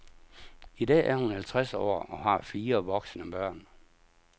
I dag er hun halvtreds år og har fire voksne børn.